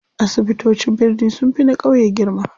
Asibitocin birni sunfi na ƙauye girma.